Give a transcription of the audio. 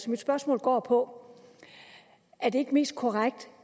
mit spørgsmål går på er det ikke mest korrekt